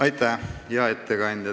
Aitäh, hea ettekandja!